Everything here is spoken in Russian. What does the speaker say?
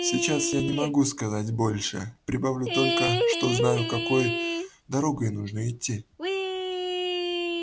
сейчас я не могу сказать больше прибавлю только что знаю какой дорогой нужно идти